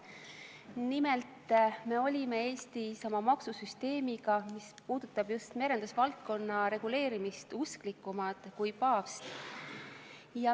Nimelt, me olime Eestis oma maksusüsteemiga, mis puudutab just merendusvaldkonna reguleerimist, usklikumad kui paavst.